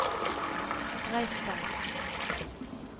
Breistein